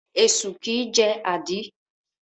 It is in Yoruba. Esu kìí jẹ́ àdí.